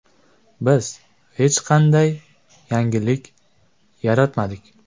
Biz hech qanday yangilik yaratmadik.